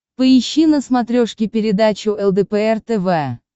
поищи на смотрешке передачу лдпр тв